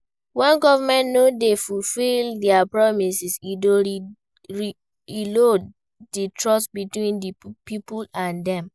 When government no dey fulfill dia promises, e dey erode di trust between di people and dem.